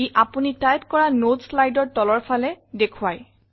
ই আপোনি টাইপ কৰা নতে Slideৰ তলৰফালে দেখোৱায়